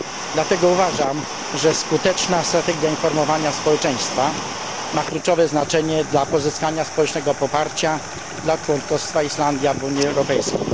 Dlatego uważam, że skuteczna strategia informowania społeczeństwa ma kluczowe znaczenie dla pozyskania społecznego poparcia dla członkostwa Islandii w Unii Europejskiej.